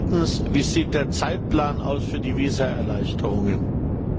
Drittens Wie sieht der Zeitplan für die Visa Erleichterungen aus?